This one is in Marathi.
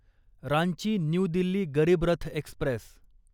Ranchi new Delhi Garib Rath Express